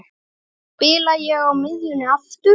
Spila ég á miðjunni aftur?